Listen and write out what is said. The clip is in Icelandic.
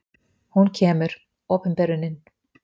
Hún kemur: opinberunin.